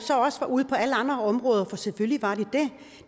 også var ude på alle andre områder for selvfølgelig var de